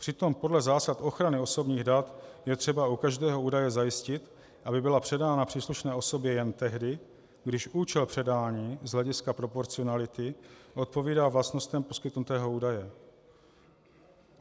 Přitom podle zásad ochrany osobních dat je třeba u každého údaje zajistit, aby byla předána příslušné osobě jen tehdy, když účel předání z hlediska proporcionality odpovídá vlastnostem poskytnutého údaje.